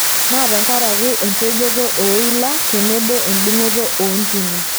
Naa tenkaraki empejoto ooila tenebo endung'oto oontimi.